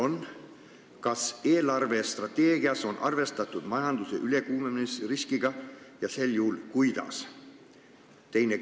Esiteks, kas eelarvestrateegias on arvestatud majanduse ülekuumenemise riskiga ja kui on, siis kuidas?